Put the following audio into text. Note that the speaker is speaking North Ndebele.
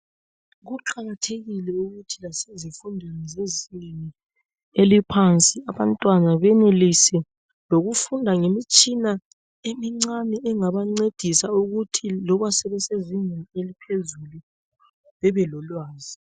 Kuqakathekile ukuthi lasezifundweni zezingeni eliphansi abantwana benelise lokufunda ngemitshina emincane engabancedisa ukuthi loba sebesezingeni eliphezulu bebelolwazi.